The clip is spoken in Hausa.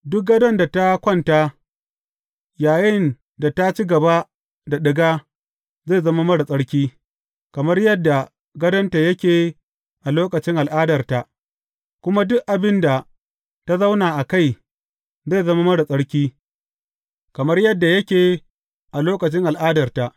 Duk gadon da ta kwanta yayinda ta ci gaba da ɗiga zai zama marar tsarki, kamar yadda gadonta yake a lokacin al’adarta, kuma duk abin da ta zauna a kai zai zama marar tsarki, kamar yadda yake a lokacin al’adarta.